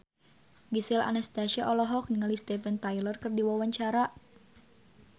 Gisel Anastasia olohok ningali Steven Tyler keur diwawancara